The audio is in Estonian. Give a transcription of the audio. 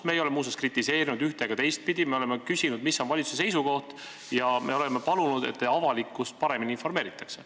Me ei ole muuseas seda ühte- ega teistpidi kritiseerinud, vaid me oleme küsinud, mis on valitsuse seisukoht, ja oleme palunud, et avalikkust paremini informeeritaks.